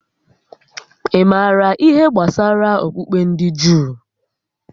Ị maara ihé gbásárá okpukpe ndị Juu?